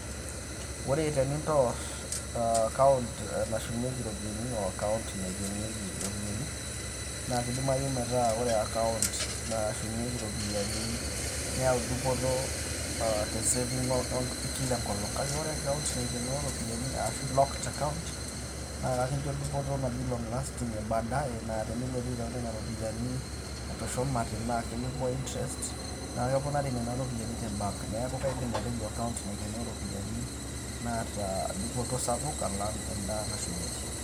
ore tenintoor, account nashumieki iropiyiani o account naikenieki iropiyiani, naa kidimayu metaa ore account nashumieki iropiyiani neyau dupoto te saving e Kila nkolong'.kake ore account naikenoo iropiyiani, ashu locked account naa ekincho dupoto naji long lasting ebaadae naa tenilotu aitau nena iropiyiani etushumate,, naa ketii point interest, naa keponari nena ropiyiani te bank .neeku kaidim atejo account napikieki iropiyiani naata dupoto sapuk alang' eda nashumieki.